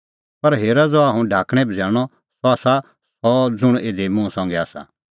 पर हेरा ज़हा हुंह ढाकणैं बझ़ैल़णअ सह आसा सह ज़ुंण इधी मुंह संघै आसा